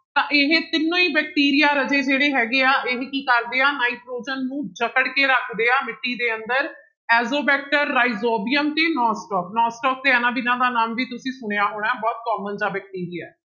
ਤਾਂ ਇਹ ਤਿੰਨੋਂ ਹੀ ਬੈਕਟੀਰੀਆ ਰਾਜੇ ਜਿਹੜੇ ਹੈਗੇ ਆ ਇਹ ਕੀ ਕਰਦੇ ਆ ਨਾਇਟ੍ਰੋਜਨ ਨੂੰ ਜਕੜ ਕੇ ਰੱਖਦੇ ਆ ਮਿੱਟੀ ਦੇ ਅੰਦਰ ਐਜੋਵੈਕਟਰ, ਰਾਇਜੋਬੀਅਮ ਤੇ ਤੇ ਇਹਨਾਂ ਤਿੰਨਾਂ ਦਾ ਨਾਮ ਵੀ ਤੁਸੀਂ ਸੁਣਿਆ ਹੋਣਾ ਹੈ ਬਹੁਤ common ਜਿਹਾ ਬੈਕਟੀਰੀਆ ਹੈ।